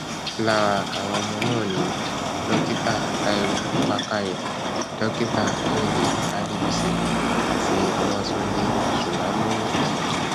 lára àwọn ọmọ náà ni dókítà táiwo bàkárẹ dókítà kẹhìndé adébísí àti babatúndé sulanowo